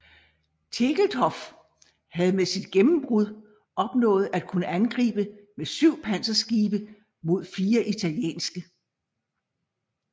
Tegetthoff havde med sit gennembrud opnået at kunne angribe med syv panserskibe mod fire italienske